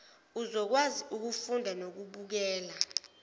uzokwazi ukufunda nokubukela